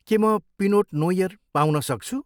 के म pinot noir पाउन सक्छु?